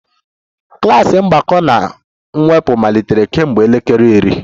Klas mgbakọ na mwepụ malitere kemgbe elekere iri